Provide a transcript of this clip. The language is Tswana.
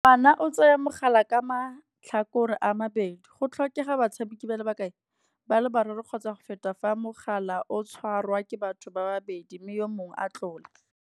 O tsaya mogala ka matlhakore a mabedi. Go tlhokega batshameki ba le bakae, ba le bararo kgotsa go feta fa mogala o tshwarwa ke batho ba babedi mme yo mongwe a tlola.